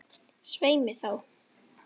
Svei mér þá.